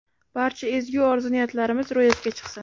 Barcha ezgu orzu-niyatlarimiz ro‘yobga chiqsin!